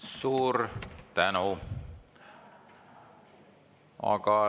Suur tänu!